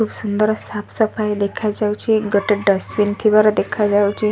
ଖୁବ ସୁନ୍ଦର ସାଫ ସଫାଇ ଦେଖାଯାଉଛି ଗୋଟେ ଡ଼ଷ୍ଟବିନ ଥିବାର ଦେଖାଯାଉଛି।